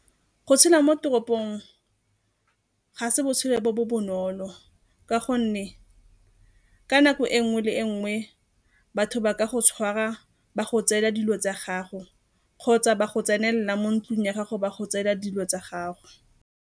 Go tshela mo toropong ga se botshelo bo bo bonolo ka gonne ka nako e nngwe le nngwe batho ba ka go tshwara ba go tseela dilo tsa gago kgotsa ba go tsenela mo ntlung ya gago ba go tseela dilo tsa gago.